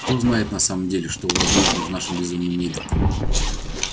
кто знает на самом деле что возможно в нашем безумном мире